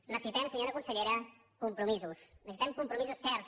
necessitem senyora consellera compromisos necessitem compromisos certs